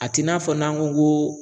A t'i n'a fɔ n'an ko ŋo